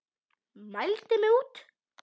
Mældi mig út.